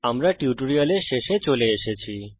আমরা এই টিউটোরিয়ালের শেষে চলে এসেছি